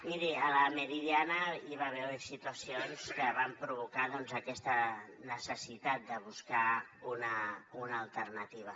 miri a la meridiana hi va haver situacions que van provocar doncs aquesta necessitat de buscar una alternativa